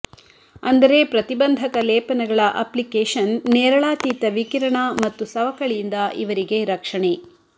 ಅಂದರೆ ಪ್ರತಿಬಂಧಕ ಲೇಪನಗಳ ಅಪ್ಲಿಕೇಶನ್ ನೇರಳಾತೀತ ವಿಕಿರಣ ಮತ್ತು ಸವಕಳಿಯಿಂದ ಇವರಿಗೆ ರಕ್ಷಣೆ